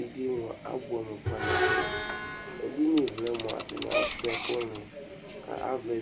edɩe abʊɛamʊ kpanabʊɛ edɩnɩ vlɛ mʊa atanɩ asuɩa ɛkʊnɩ nʊ ava